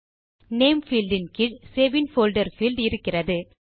name field இன் கீழ் save in folder field இருக்கிறது